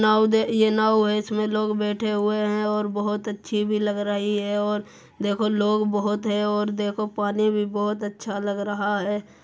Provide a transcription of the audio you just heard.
नाव देख ये नाव है इसमे में लोग बैठे हुए हैं और बहुत अच्छी भी लग रही है और देखो लोग बहुत है और देखो पानी भी बहोत अच्छा लग रहा है।